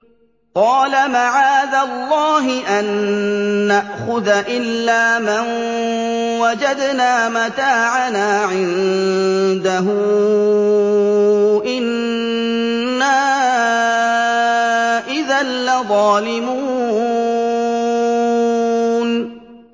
قَالَ مَعَاذَ اللَّهِ أَن نَّأْخُذَ إِلَّا مَن وَجَدْنَا مَتَاعَنَا عِندَهُ إِنَّا إِذًا لَّظَالِمُونَ